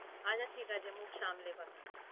আচ্ছা ঠিক আছে মুখ সামলে কথা বলছি